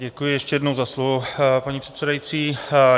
Děkuji ještě jednou za slovo, paní předsedající.